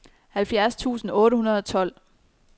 halvfjerds tusind otte hundrede og tolv